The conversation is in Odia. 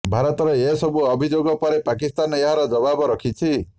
ଭାରତର ଏ ସବୁ ଅଭିଯୋଗ ପରେ ପାକିସ୍ତାନ ଏହାର ଜବାବ ରଖିଛି